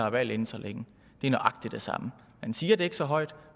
valg inden så længe det er nøjagtig det samme man siger det ikke så højt